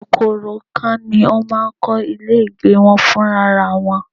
Kòkòrò ikán ni ó máa ń kọ́ ilé ìgbé wọn fún ra wọn